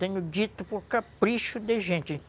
Tenho dito por capricho de gente.